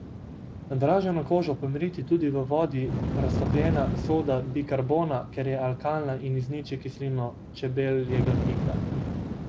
Nadraženo kožo pomiri tudi v vodi raztopljena soda bikarbona, ker je alkalna in izniči kislino čebeljega pika.